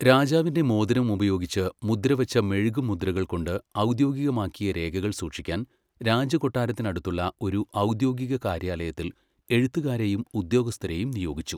രാജാവിന്റെ മോതിരം ഉപയോഗിച്ച് മുദ്രവച്ച മെഴുകുമുദ്രകൾ കൊണ്ട് ഔദ്യോഗികമാക്കിയ രേഖകൾ സൂക്ഷിക്കാൻ രാജകൊട്ടാരത്തിനടുത്തുള്ള ഒരു ഔദ്യോഗിക കാര്യാലയത്തിൽ എഴുത്തുകാരെയും ഉദ്യോഗസ്ഥരെയും നിയോഗിച്ചു.